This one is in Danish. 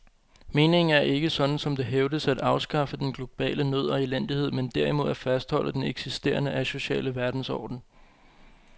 Meningen er ikke, sådan som det hævdes, at afskaffe den globale nød og elendighed, men derimod at fastholde den eksisterende asociale verdensorden.